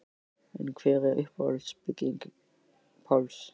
En hver er uppáhalds bygging Páls?